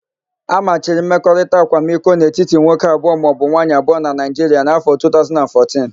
A machiri mmekọrita akwamiko n'etiti nwoke abụọ maọbụ nwaayị abụọ na Naịjiria n'áfọ̀ 2014.